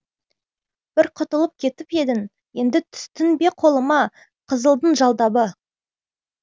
бір құтылып кетіп едің енді түстің бе қолыма қызылдың жалдабы